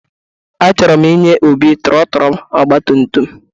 Achọrọ m inye Obi trọtụlụ ọgbatumtum.